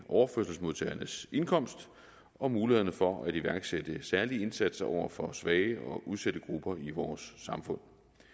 overførselsmodtagernes indkomst og mulighederne for at iværksætte særlige indsatser over for svage og udsatte grupper i vores samfund